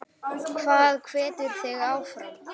Hvað hvetur þig áfram?